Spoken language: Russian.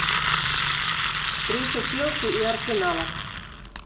встреча челси и арсенала